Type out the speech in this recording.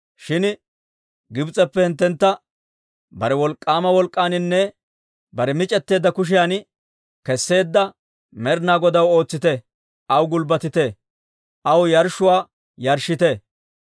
Shin Gibs'eppe hinttentta bare wolk'k'aama wolk'k'aaninne bare mic'eteedda kushiyan kesseedda Med'ina Godaw ootsite; aw gulbbatite; aw yarshshuwaa yarshshite.